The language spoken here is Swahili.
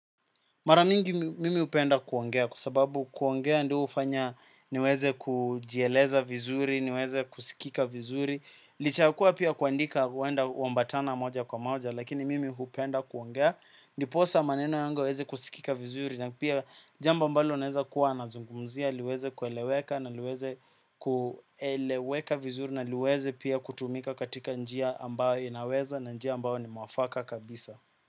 Mara mingi mimi hupenda kuongea, kwa sababu kuongea ndio hufanya niweze kujieleza vizuri, niweze kusikika vizuri. Licha ya kua pia kuandika huenda hambatana moja kwa maoja, lakini mimi hupenda kuongea. Ndiposa maneno yangu yaweze kusikika vizuri, na pia jambo ambalo unaweza kuwa nazungumzia, liweze kueleweka vizuri, na liweze pia kutumika katika njia ambayo inaweza, na njia ambayo ni mwafaka kabisa.